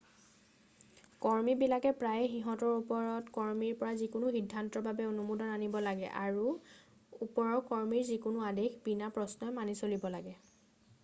কৰ্মীবিলাকে প্ৰায়ে সিহঁতৰ ওপৰৰ কৰ্মীৰ পৰা যিকোনো সিদ্ধান্তৰ বাবে অনুমোদন আনিব লাগে আৰু ওপৰৰ কৰ্মীৰ যিকোনো আদেশ বিনা প্ৰশ্নই মানি চলিব লাগে